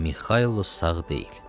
Mixailo sağ deyil.